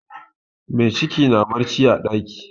Mai ciki na barci a ɗaki.